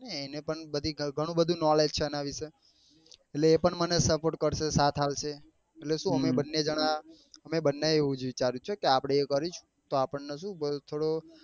એને પણ ગણું બધું knowledge છે આના વિશે એટલે એ પણ મને support કરશે સાથ આપશે એટલે શું અમે બન્ને જણા અમે બન્ને એ એ આપણને ને શું જ વિચાર્યું છે કે આપડે અએ જ કરીશું તો